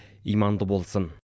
иманды болсын